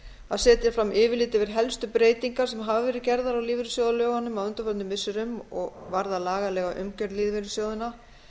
að setja fram yfirlit yfir helstu breytingar sem hafa verið gerðar á lífeyrissjóðalögunum á undanförnum missirum og varða lagalega umgjörð lífeyrissjóðanna